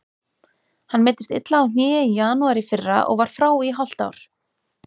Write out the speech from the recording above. Hann meiddist illa á hné í janúar í fyrra og var frá í hálft ár.